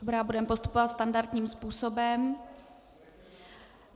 Dobrá, budeme postupovat standardním způsobem.